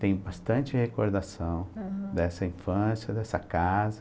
Tenho bastante recordação, aham, dessa infância, dessa casa.